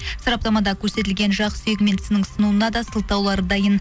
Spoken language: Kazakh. сараптамада көрсетілген жақ сүйегі мен тісінің сынуына да сылтаулары дайын